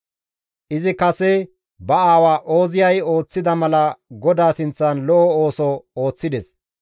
Izi kase ba aawa Ooziyay ooththida mala GODAA sinththan lo7o ooso ooththides.